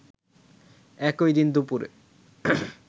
একই দিন দুপুরে